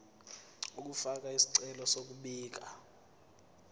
ukufaka isicelo sokubika